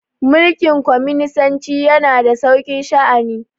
mulikin cominisanci yana da sauki sha'ani